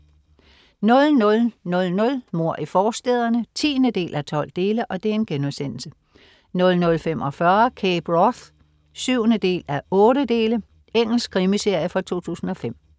00.00 Mord i forstæderne 10:12* 00.45 Cape Wrath 7:8. Engelsk krimiserie fra 2005